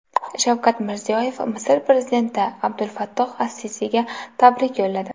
Shavkat Mirziyoyev Misr prezidenti Abdulfattoh as-Sisiga tabrik yo‘lladi.